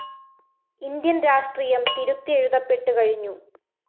Indian‍ രാഷ്ട്രീയം തിരുത്തിയെഴുതപ്പെട്ടു കഴിഞ്ഞു